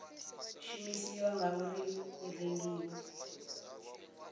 shumisiwa na uri i rengiwa